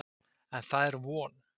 En það er von.